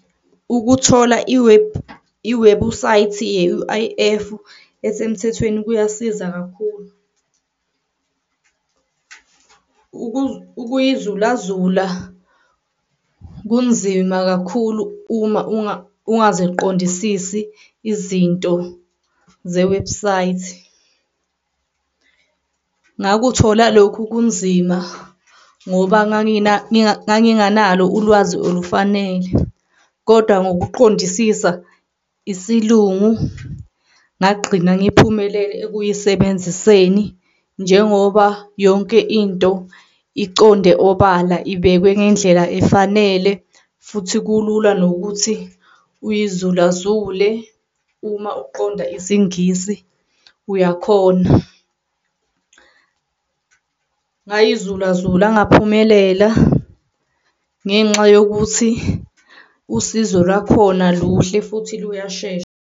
Ukuthola i-web, iwebusayithi ye-U_I_F esemthethweni kuyasiza kakhulu. Ukuyizulazula kunzima kakhulu uma ungaziqondisisi izinto ze-website. Ngakuthola lokhu kunzima ngoba nganginganalo ulwazi olufanele, kodwa ngokuqondisisa isilungu ngagqina ngiphumele ekuyisebenziseni njengoba yonke into iconde obala ibekwe ngendlela efanele futhi kulula nokuthi uyizulazule uma uqonda isiNgisi uyakhona. Ngayizulazula ngaphumelela ngenxa yokuthi usizo lwakhona luhle futhi liyashesha.